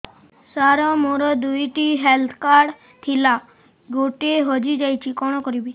ସାର ମୋର ଦୁଇ ଟି ହେଲ୍ଥ କାର୍ଡ ଥିଲା ଗୋଟେ ହଜିଯାଇଛି କଣ କରିବି